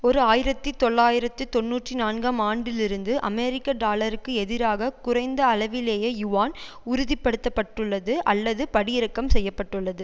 ஓர் ஆயிரத்தி தொள்ளாயிரத்து தொன்னூற்றி நான்காம் ஆண்டிலிருந்து அமெரிக்க டாலருக்கு எதிராக குறைந்த அளவிலேயே யுவான் உறுதிப்படுத்தப்பட்டுள்ளது அல்லது படி இறக்கம் செய்ய பட்டுள்ளது